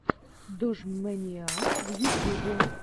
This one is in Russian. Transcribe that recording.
дожмэниак в ютьюбе